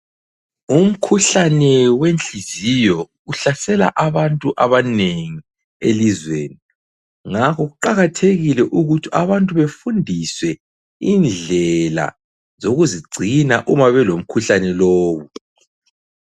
Umkhuhlane wenhliziyo uhlasela abantu abanengi elizweni ngakho kuqakathekile ukuthi abantu befundiswe indlela zokuzigcina uma belomkhuhlane lowo.